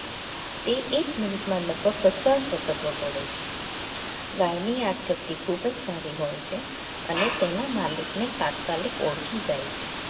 તે એક મિનિટમાં લગભગ પચાસ વખત વગોડે છે ગાયની યાદશક્તિ ખૂબ જ સારી હોય છે અને તેના માલિકને તાત્કાલિક ઓળખી જાય છે